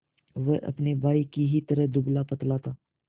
वह अपने भाई ही की तरह दुबलापतला था